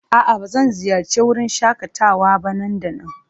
A'a, ba zan ziyarci wurin shakatawa ba nan da nan?